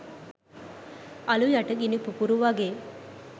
අළු යට ගිනි පුපුරු වගේ